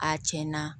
A cɛn na